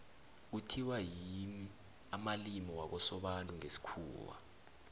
kuthiwa yimi amalimi wakosobantu ngesikhuwa